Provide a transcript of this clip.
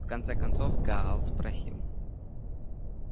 в конце концов гаала спросили